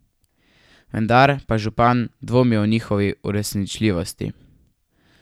Vendar pa župan dvomi o njihovi uresničljivosti.